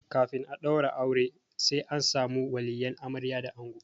Kafin a ɗaura aure sai an samu waliyan amarya da ango.